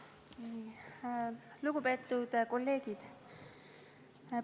Lugupeetud kolleegid!